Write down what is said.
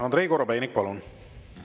Andrei Korobeinik, palun!